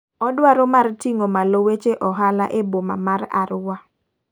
Odwaro mar ting'o malo weche ohala e boma mar Arua.